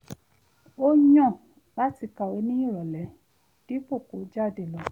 ó yàn láti kàwé ní ìrọ̀lẹ́ dípò kó jáde lọ